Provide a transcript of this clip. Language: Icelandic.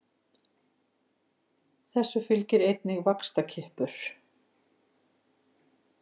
Þessu fylgir einnig vaxtarkippur.